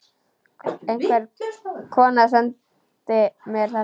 Einhver kona sendi mér þetta.